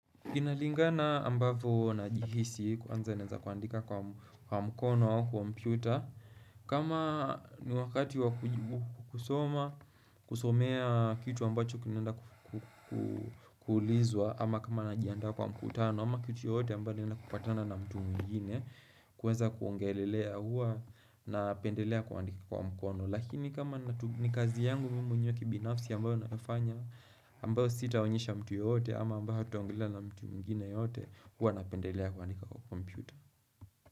Inalingana ambavyo najihisi kwanza naeza kuandika kwa mkono au kompyuta kama ni wakati wa kusoma kusomea kitu ambacho kinaenda kuulizwa ama kama najiandaa kwa mkutano ama kitu yote ambayo naeza kupatana na mtu mwengine kuweza kuongelelea huwa napendelea kuandika kwa mkono Lakini kama ni kazi yangu mimi mwenyewe kibinafsi ambayo nafanya ambayo sitaoyesha mtu yeyote ama ambayo hatutaongelelea na mtu mwengine yeyote huwa napendelea kuandika kwa kompyuta.